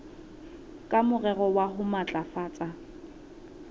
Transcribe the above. ka morero wa ho matlafatsa